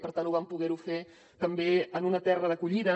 per tant ho vam poder fer també en una terra d’acollida